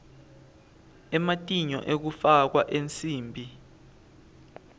ematinyo ekufakwa ensimbi